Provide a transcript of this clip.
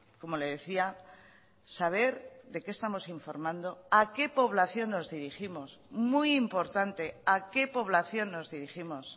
como le decía saber de qué estamos informando a qué población nos dirigimos muy importante a qué población nos dirigimos